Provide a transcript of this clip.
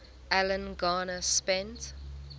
alan garner spent